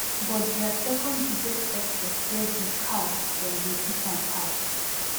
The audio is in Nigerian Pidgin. but dia second biggest export wey be cars dem go hit am hard